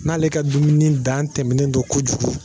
N'ale ka dumuni dan tɛmɛnen don kojugu